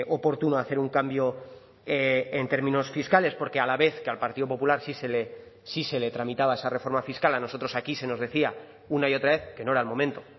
oportuno hacer un cambio en términos fiscales porque a la vez que al partido popular sí se le sí se le tramitaba esa reforma fiscal a nosotros aquí se nos decía una y otra vez que no era el momento